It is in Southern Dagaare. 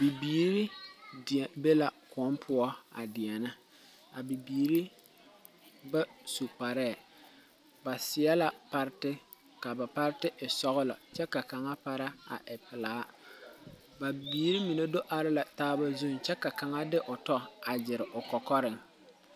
Bibiiri be la koun puo a deɛne a bibiiri ba su kparee ba seɛ la pariti ka a ba pariti e sɔglo kye ka kanga para a e pelaa a bibiiri mene do arẽ la taa zung kye ka kanga de ɔ tɔ a gyiri ɔ kɔkɔring.